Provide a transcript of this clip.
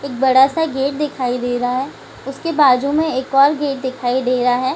एक बड़ा-सा गेट दिखाई दे रहा है उसके बाजू में एक और गेट दिखाई दे रहा है ।